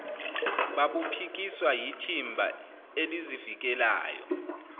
babuphikiswa yithimba elizivikelayo